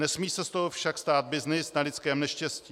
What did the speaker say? Nesmí se z toho však stát byznys na lidském neštěstí.